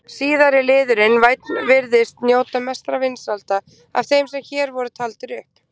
Síðari liðurinn- vænn virðist njóta mestra vinsælda af þeim sem hér voru taldir upp.